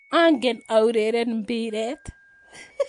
Angen aureren mpiret